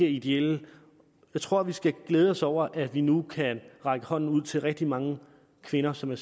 ideelle jeg tror vi skal glæde os over at vi nu kan række hånden ud til rigtig mange kvinder som er